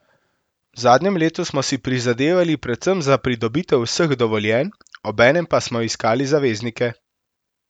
V zadnjem letu smo si prizadevali predvsem za pridobitev vseh dovoljenj, obenem pa smo iskali zaveznike.